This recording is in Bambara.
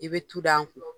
I bɛ tu d'an kun